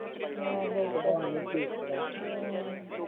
ਨੀ ਚੀਕਦਾ